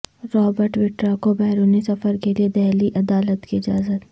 Robert Vadra کو بیرونی سفر کیلئے دہلی عدالت کی اجازت